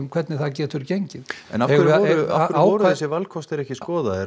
hvernig það getur gengið en af hverju voru þessir valkostir ekki skoðaðir